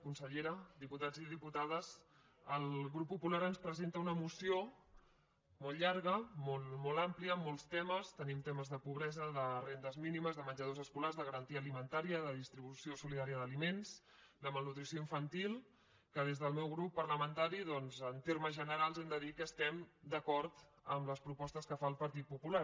consellera diputats i diputades el grup popular ens presenta una moció molt llarga molt àmplia amb molts temes tenim temes de pobresa de rendes mínimes de menjadors escolars de garantia alimentària de distribució solidària d’aliments de malnutrició infantil que des del meu grup parlamentari doncs en termes generals hem de dir que estem d’acord amb les propostes que fa el partit popular